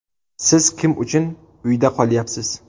Siz kim uchun uyda qolyapsiz?